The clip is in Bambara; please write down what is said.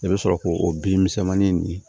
I bɛ sɔrɔ k'o o bin misɛnmanin nin